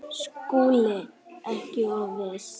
SKÚLI: Ekki of viss!